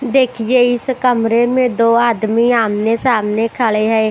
देखिए इस कमरे में दो आदमी आमने-सामने खड़े हैं।